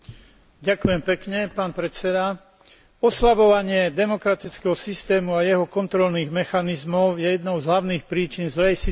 Oslavovanie demokratického systému a jeho kontrolných mechanizmov je jednou z hlavných príčin zlej situácie s ochranou ľudských práv vo Venezuele.